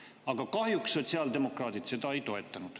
Aga kahjuks sotsiaaldemokraadid seda ei toetanud.